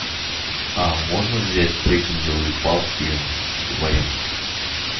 а можно взять трекинговые палки в аренду